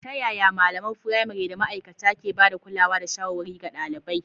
Ta yaya malaman firamare da ma’aikata ke ba da kulawa da shawarwari ga ɗalibai?